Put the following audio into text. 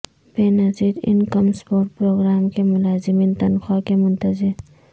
بے نظیر income support programme کے ملازمین تنخواہ کے منتظر